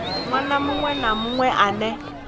ṅwana muṅwe na muṅwe ane